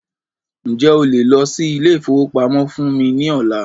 Ǹjẹ́ o lè lọ sí ilé ìfọwọ́pamó fún mí ní ọ̀la?